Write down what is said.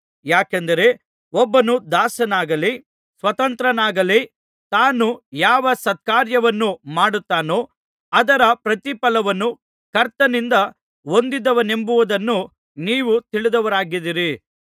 ಯಾಕೆಂದರೆ ಒಬ್ಬನು ದಾಸನಾಗಲಿ ಸ್ವತಂತ್ರನಾಗಲಿ ತಾನು ಯಾವ ಸತ್ಕಾರ್ಯವನ್ನು ಮಾಡುತ್ತಾನೋ ಅದರ ಪ್ರತಿಫಲವನ್ನು ಕರ್ತನಿಂದ ಹೊಂದುವನೆಂಬುದನ್ನು ನೀವು ತಿಳಿದವರಾಗಿದ್ದೀರಿ